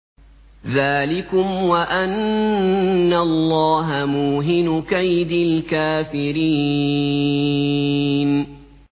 ذَٰلِكُمْ وَأَنَّ اللَّهَ مُوهِنُ كَيْدِ الْكَافِرِينَ